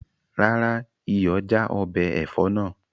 Rárá, iyọ̀ já ọbẹ̀ ẹ̀fọ́ náà